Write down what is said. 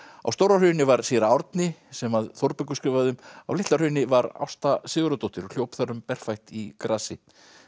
á Stóra Hrauni var séra Árni sem Þórbergur skrifaði um á Litla Hrauni var Ásta Sigurðardóttir hljóp þar um berfætt í grasi